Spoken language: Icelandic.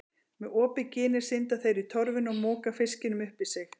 Með opið ginið synda þeir í torfuna og moka fiskinum upp í sig.